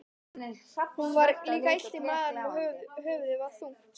Honum var líka illt í maganum og höfuðið var þungt.